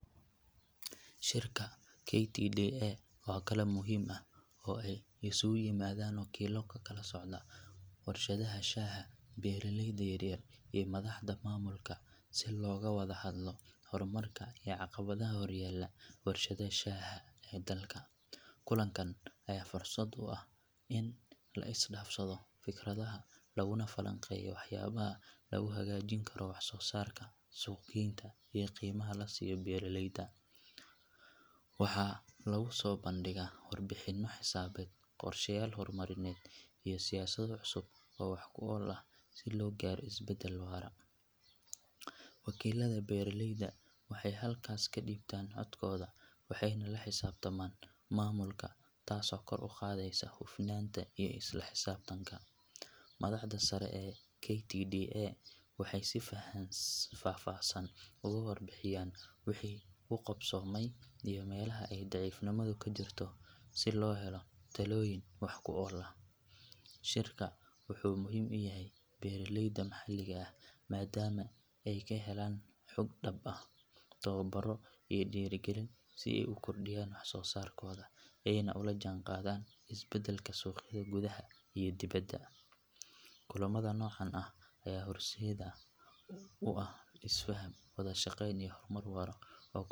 Shirka KTDA waa kulan muhiim ah oo ay isugu yimaadaan wakiillo ka kala socda warshadaha shaaha, beeraleyda yaryar iyo madaxda maamulka si looga wada hadlo horumarka iyo caqabadaha horyaalla warshadaha shaaha ee dalka. Kulankan ayaa fursad u ah in la is dhaafsado fikradaha laguna falanqeeyo waxyaabaha lagu hagaajin karo wax soo saarka, suuq geynta iyo qiimaha la siiyo beeraleyda. Waxaa lagu soo bandhigayaa warbixinno xisaabeed, qorshayaal horumarineed iyo siyaasado cusub oo wax ku ool ah si loo gaaro isbeddel waara. Wakiillada beeraleyda waxay halkaas ka dhiibtaan codkooda waxayna la xisaabtamaan maamulka taasoo kor u qaadaysa hufnaanta iyo isla xisaabtanka. Madaxda sare ee KTDA waxay si faahfaahsan uga warbixiyaan wixii u qabsoomay iyo meelaha ay daciifnimadu ka jirto si loo helo talooyin wax ku ool ah. Shirka wuxuu muhiim u yahay beeraleyda maxalliga ah maadaama ay ka helaan xog dhab ah, tababaro iyo dhiirrigelin si ay u kordhiyaan wax soo saarkooda ayna ula jaanqaadaan isbeddelka suuqyada gudaha iyo dibadda. Kulamada noocan ah ayaa horseed u ah isfaham, wada shaqayn iyo horumar waara oo ku.